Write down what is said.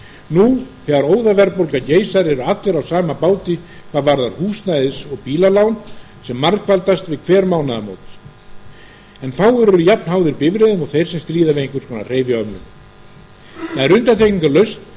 nú þegar óðaverðbólga geysar eru allir á sama báti hvað varðar húsnæðis og bílalán sem margfaldast við hver mánaðamót en fáir eru jafn háðir bifreiðum og þeir sem stríða við einhvers konar hreyfihömlun undantekningarlaust verða